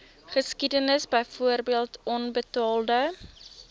geskiedenis byvoorbeeld onbetaalde